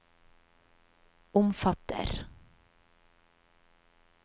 omfatter